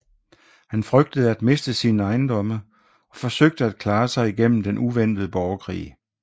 Han frygtede at miste sine ejendomme og forsøgte at klare sig igennem den uventede borgerkrig